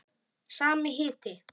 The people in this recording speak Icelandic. Sami hiti.